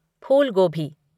फूल गोभी